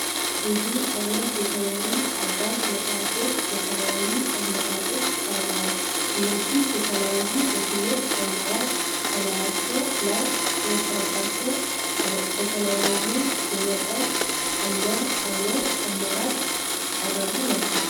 ብዙ አይነት የተማሪ አጋዥ መጽሃፎች በተለያዩ አማራጮች ቀርበዋል። እነዚህም የተለያየ ትምህርት አማራጭ በላያቸው ላይ የሰፈረባቸው በተለያየ የመጠን እና የአይነት አማራጭ የቀረቡ ናቸው።